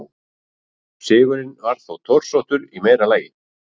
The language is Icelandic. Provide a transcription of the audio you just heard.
Sigurinn var þó torsóttur í meira lagi.